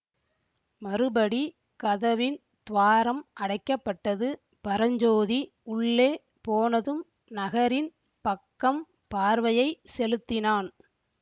மறுபடி கதவின் துவாரம் அடைக்க பட்டது பரஞ்சோதி உள்ளே போனதும் நகரின் பக்கம் பார்வையை செலுத்தினான்